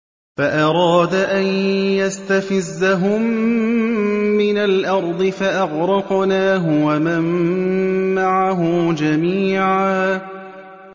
فَأَرَادَ أَن يَسْتَفِزَّهُم مِّنَ الْأَرْضِ فَأَغْرَقْنَاهُ وَمَن مَّعَهُ جَمِيعًا